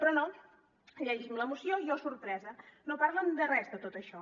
però no llegim la moció i oh sorpresa no parlen de res de tot això